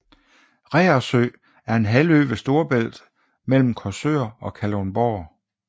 Reersø er en halvø ved Storebælt mellem Korsør og Kalundborg